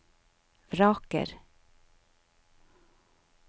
vraker